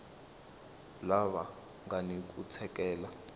lava nga ni ku tsakela